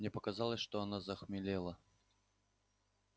мне показалось что она захмелела